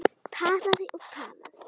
Talaði og talaði.